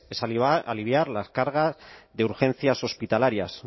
es aliviar las cargas de urgencias hospitalarias